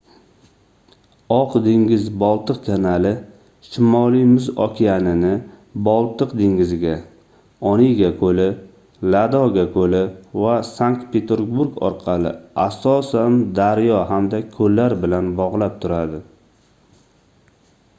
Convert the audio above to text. oq dengiz-boltiq kanali shimoliy muz okeanini boltiq dengiziga onega koʻli ladoga koʻli va sankt-peterburg orqali asosan daryo hamda koʻllar bilan bogʻlab turadi